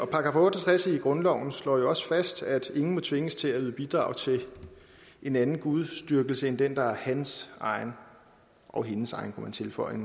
§ otte og tres i grundloven slår jo også fast at ingen må tvinges til at yde bidrag til en anden gudsdyrkelse end den der er hans egen og hendes egen kunne man tilføje